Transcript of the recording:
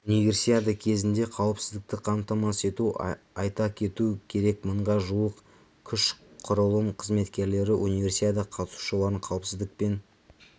универсиада кезінде қауіпсіздікті қамтамасыз ету айта кету керек мыңға жуық күш құрылым қызметкерлері универсиада қатысушыларын қауіпсіздікпен